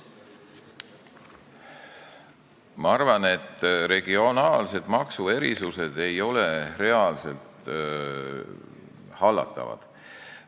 Ma arvan, et regionaalsed maksuerisused ei ole reaalselt hallatavad.